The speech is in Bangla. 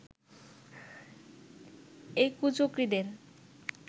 এই কুচক্রীদের